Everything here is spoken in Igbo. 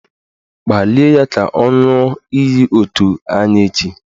Kpalie ya ka ọ ṅụọ iyi otu anyị echi!